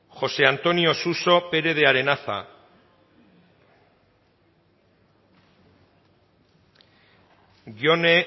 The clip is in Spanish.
josé antonio suso pérez de arenaza jone